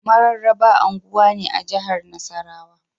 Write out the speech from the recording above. Mararaba unguwa ne a jahar Nasarrawa